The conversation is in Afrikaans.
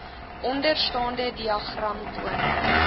onderstaande diagram toon